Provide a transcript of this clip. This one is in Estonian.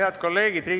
Head kolleegid!